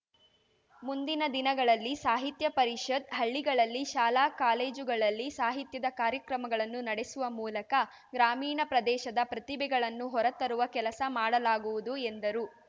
ಮುಂದಿನ ದಿನಗಳಲ್ಲಿ ಸಾಹಿತ್ಯ ಪರಿಷತ್‌ ಹಳ್ಳಿಗಳಲ್ಲಿ ಶಾಲಾ ಕಾಲೇಜುಗಳಲ್ಲಿ ಸಾಹಿತ್ಯದ ಕಾರ್ಯಕ್ರಮಗಳನ್ನು ನಡೆಸುವ ಮೂಲಕ ಗ್ರಾಮೀಣ ಪ್ರದೇಶದ ಪ್ರತಿಭೆಗಳನ್ನು ಹೊರತರುವ ಕೆಲಸ ಮಾಡಲಾಗುವುದು ಎಂದರು